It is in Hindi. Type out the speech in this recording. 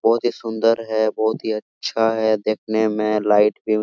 बहुत ही सुंदर है बहुत ही अच्छा है देखने में लाइट पिंक ।--